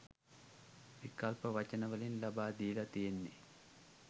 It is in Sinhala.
විකල්ප වචන වලින් ලබා දීලා තියෙන්නේ